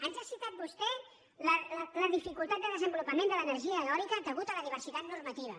ens ha citat vostè la dificultat de desenvolupament de l’energia eòlica a causa de la diversitat normativa